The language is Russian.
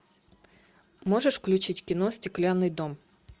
можешь включить кино стеклянный дом